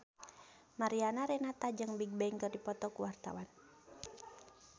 Mariana Renata jeung Bigbang keur dipoto ku wartawan